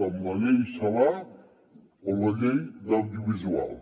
com la llei celaá o la llei de l’audiovisual